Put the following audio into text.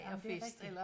Ja men det er rigtigt